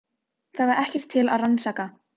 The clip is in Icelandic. Það var ekkert til að rannsaka.